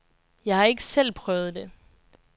Jeg har ikke selv prøvet det.